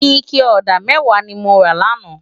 Iké òdá mèwá ni mó rá làná